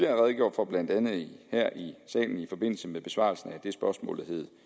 redegjort for blandt andet her i salen i forbindelse med besvarelsen af det spørgsmål der hed